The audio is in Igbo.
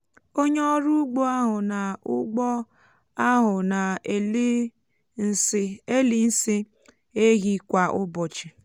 onye ọrụ ụgbọ áhù nà ụgbọ áhù nà elì nsị um ehi kwa ụbọchị um